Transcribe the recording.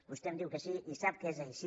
vostè em diu que sí i sap que és així